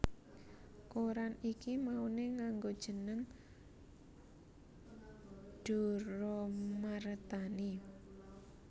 Koran iki mauné nganggo jeneng Djoeroemarthani